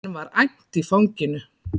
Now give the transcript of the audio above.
Enn var æmt í fanginu.